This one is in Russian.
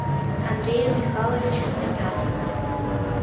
андрею михайловичу сметанину